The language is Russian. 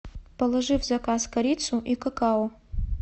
положи в заказ корицу и какао